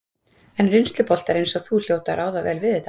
En reynsluboltar eins og þú hljóta að ráða vel við þetta?